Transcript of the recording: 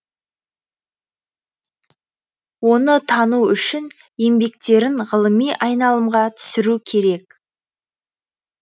оны тану үшін еңбектерін ғылыми айналымға түсіру керек